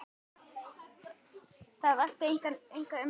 Það vakti enga umræðu hér.